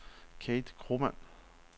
Kate Kromann